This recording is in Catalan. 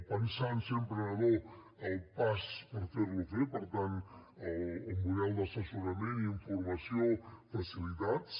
pensar ser emprenedor el pas per fer lo fer per tant el model d’assessorament i informació facilitats